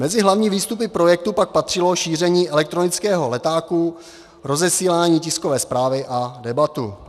Mezi hlavní výstupy projektu pak patřilo šíření elektronického letáku, rozesílání tiskové zprávy a debata.